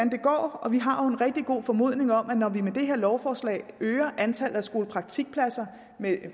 og vi har jo en rigtig god formodning om at når vi med det her lovforslag øger antallet af skolepraktikpladser med